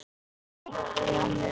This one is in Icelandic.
Hún finnur það.